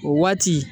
O waati